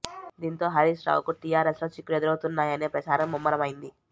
దీంతో హరీష్ రావుకు టీఆర్ఎస్ లో చిక్కులు ఎదురవుతున్నాయనే ప్రచారం ముమ్మరమైంది